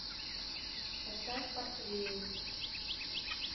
поставь портвейн